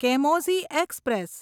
કેમોઝી express